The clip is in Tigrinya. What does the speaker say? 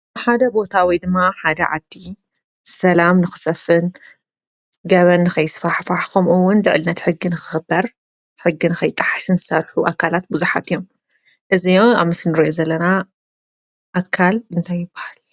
ብሓደ ቦታወይ ድማ ሓደ ዓዲ ሰላም ንኽሰፍን ገበን ኸይስፋሕፍ ኾምኡ ውን ልዕልነት ሕግን ኽኽበር ሕግን ኸይጠሕስን ሠርሑ ኣካላት ብዙሓት እዮም እዝይዮ ኣምስንሮየ ዘለና ኣካል እንተይ ይበሃል ?